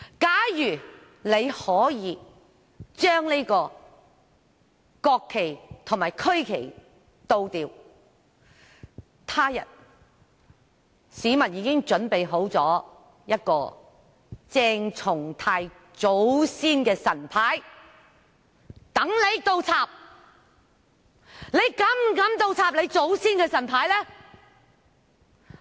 假如可以將國旗及區旗倒轉，他日......市民已經準備了一個鄭松泰議員祖先的神牌，讓他倒轉擺放。